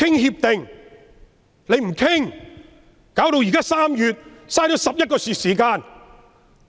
現在已是3月，浪費了11個月時間。